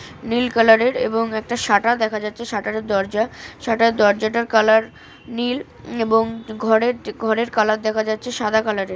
নীল colour এর এবং একটা শাটার দেখা যাচ্ছে শাটার -এর দরজা শাটার দরজাটার কালার নীল এবং ঘরের কালার দেখা যাচ্ছে সাদা কালার -এর ।